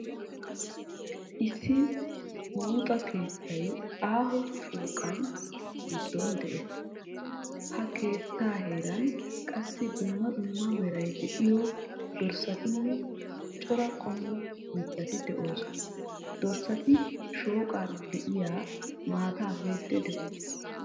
Issi buuxa keettay aaho shooqaa giddon de'ees. Ha keettaa heeran qassi dumma dumma meray de'iyo dorssatinne cora qommo mittati de'oosona. Dorssati shooqan de'iya maataa miiddii de'oosona.